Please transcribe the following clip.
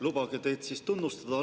Lubage teid algatuseks tunnustada.